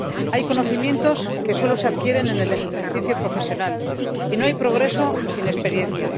Hay conocimientos que solo se adquieren en el ejercicio profesional y no hay progreso sin experiencia.